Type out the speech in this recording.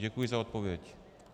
Děkuji za odpověď.